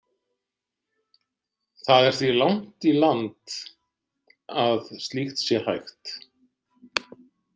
Það er því langt í land að slíkt sé hægt.